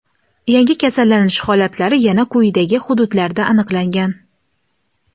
Yangi kasallanish holatlari yana quyidagi hududlarda aniqlangan:.